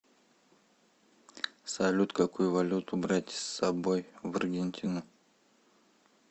салют какую валюту брать с собой в аргентину